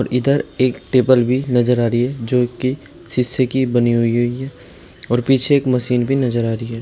इधर एक टेबल भी नजर आ रही है जो की शीशे की बनी हुई है और पीछे एक मशीन भी नजर आ रही है।